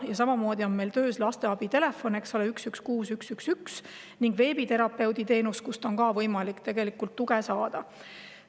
Ja samamoodi on meil töös lasteabi telefon 116111 ning veebiterapeudi teenus, kust on ka võimalik tuge saada.